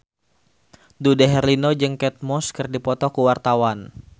Dude Herlino jeung Kate Moss keur dipoto ku wartawan